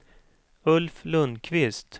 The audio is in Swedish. Ulf Lundkvist